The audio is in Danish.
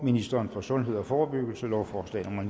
ministeren for sundhed og forebyggelse lovforslag nummer